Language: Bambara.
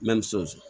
Mɛ ni soso